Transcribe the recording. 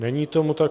Není tomu tak.